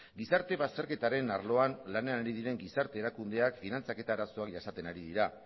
gizarte bazterketaren arloan lanean ari diren gizarte erakundeak finantzaketa arazoak jasaten ari dira